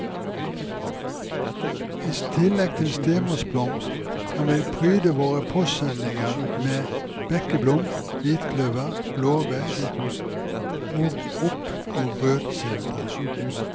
I tillegg til stemorsblomst, kan vi pryde våre postsendinger med bekkeblom, hvitkløver, blåveis, mogop og rødsildre.